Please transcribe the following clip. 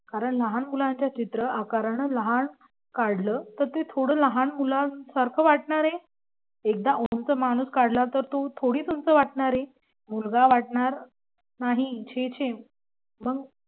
कारण लहान मुलांचे चित्र आकाराने लहान काढलं तर ते थोडं लहान मुलांसारखं वाटणार आहे. एकदा उंच माणूस काढला तर तो थोडीच उंच वाटणार आहे मुलगा वाटणार नाही छे छे